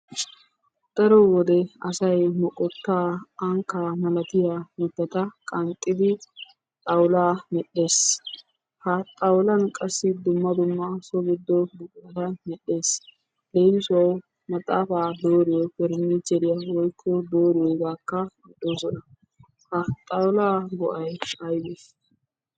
Daro wode asay moqqottaa ankkaa malatiya mitata qanxxidi xawulaa medhees. Ha xawulan qassi dumma dumma soho giddo buqurata medhees. leemissuwawu maxaafaa dooriyo parnichcheeriya woykko dooriyogaakka de'oosona. Ha xaawulaa go'ay aybee?